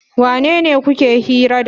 Wanene kuke hira da?